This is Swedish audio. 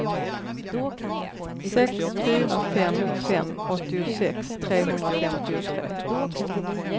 sex fyra fem fem åttiosex trehundrafemtiotre